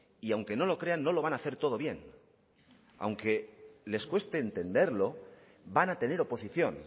y aunque no lo crean no lo van a hacer todo bien aunque les cueste entenderlo van a tener oposición